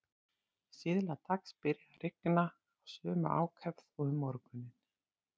Síðla dags byrjaði að rigna af sömu ákefð og um morguninn.